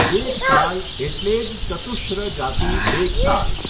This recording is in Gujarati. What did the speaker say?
એક તાલ એટલે જ ચતુશ્ર જાતિ એક તાલ.